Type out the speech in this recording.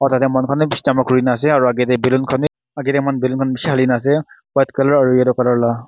tate manu khan bi bishi jama kuri kena ase aro age te balloon khan bi age te moi khan balloon khan bishi hali kena ase white color aro yellow color la.